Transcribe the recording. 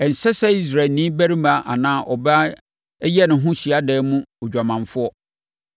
Ɛnsɛ sɛ Israelni barima anaa ɔbaa yɛ no ho hyiadan mu odwamanfoɔ.